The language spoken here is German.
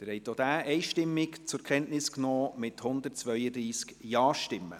Sie haben auch diesen Bericht einstimmig zur Kenntnis genommen, mit 132 Ja-Stimmen.